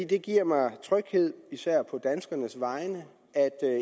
det giver mig tryghed især på danskernes vegne at